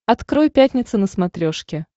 открой пятница на смотрешке